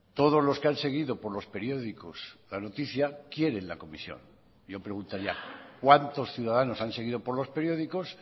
todos los que han seguido por los periódicos la noticia quieren la comisión yo preguntaría cuántos ciudadanos han seguido por los periódicos